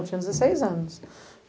Eu tinha dezesseis anos.